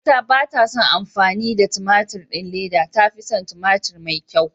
Mama ta batason amfani da a tumaturin leda, ta fison tumaturi mai kyau.